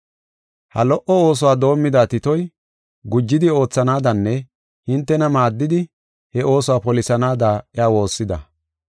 Ha lo77o oosuwa doomida Titoy, gujidi oothanaadanne hintena maaddidi, he oosuwa polisanaada iya woossida.